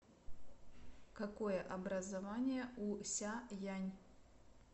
какое образование у ся янь